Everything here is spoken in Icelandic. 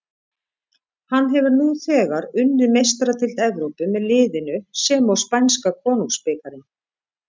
Hann hefur nú þegar unnið Meistaradeild Evrópu með liðinu sem og spænska konungsbikarinn.